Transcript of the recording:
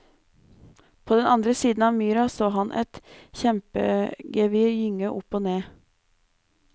På den andre siden av myra så han et kjempegevir gynge opp og ned.